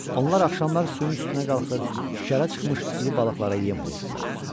Onlar axşamlar suyun üstünə qalxır, şikərə çıxmış iri balıqlara yem olurdular.